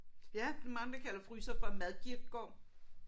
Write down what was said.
Ja men andre kalder en fryser for en madkirkegård